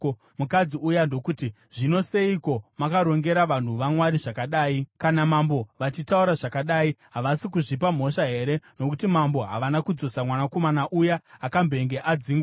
Mukadzi uya ndokuti, “Zvino seiko makarongera vanhu vaMwari zvakadai? Kana mambo vachitaura zvakadai, havasi kuzvipa mhosva here, nokuti mambo havana kudzosa mwanakomana uya akambenge adzingwa.